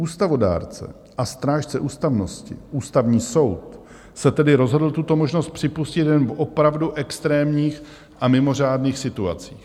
Ústavodárce a strážce ústavnosti, Ústavní soud, se tedy rozhodl tuto možnost připustit jen v opravdu extrémních a mimořádných situacích.